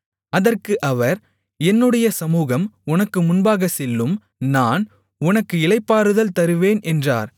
அதற்கு அவர் என்னுடைய சமுகம் உனக்கு முன்பாகச் செல்லும் நான் உனக்கு இளைப்பாறுதல் தருவேன் என்றார்